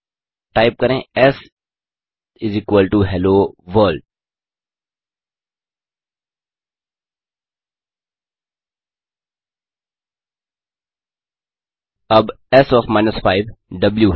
type करें S hello world अब S O F 5 इस द्व